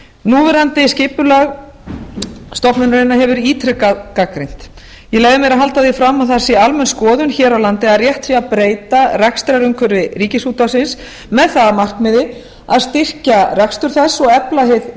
núverandi skipulag stofnunarinnar hefur verið ítrekað gagnrýnt ég leyfi mér að halda því fram að það sé almenn skoðun hér á landi að rétt sé að breyta rekstrarumhverfi ríkisútvarpsins með það að markmiði að styrkja rekstur þess og efla